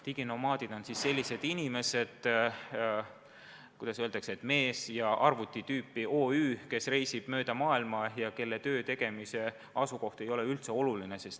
Diginomaadid on sellised inimesed, kuidas öelda, "mees ja arvuti" tüüpi OÜ-de asutajad, kes reisivad mööda maailma ja kelle töötegemise asukoht ei ole üldse oluline.